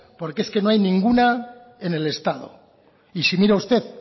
porque es que no hay ninguna en el estado y si mira usted